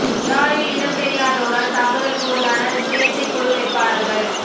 யாழில் இனம் தெரியாதோரால் தாக்குதலுக்கு உள்ளான சுயேட்சைக் குழு வேட்பாளர்கள்